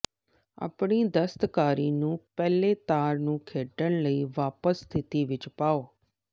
ਆਪਣੀ ਦਸਤਕਾਰੀ ਨੂੰ ਪਹਿਲੇ ਤਾਰ ਨੂੰ ਖੇਡਣ ਲਈ ਵਾਪਸ ਸਥਿਤੀ ਵਿੱਚ ਪਾਓ